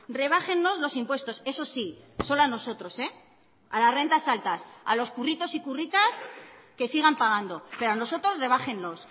rebájennos los impuestos eso sí solo a nosotros a las rentas altas a los curritos y curritas que sigan pagando pero a nosotros rebájennos